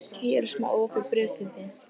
Hér er smá opið bréf til þín.